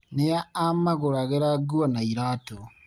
Nĩa amagũragra nguo na iratũ.